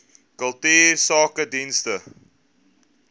kultuursakedienste